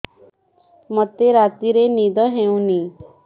ମୋତେ ରାତିରେ ନିଦ ହେଉନି